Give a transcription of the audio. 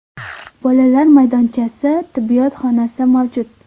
Bolalar maydonchasi, tibbiyot xonasi mavjud.